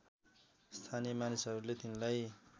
स्थानीय मानिसहरूले तिनलाई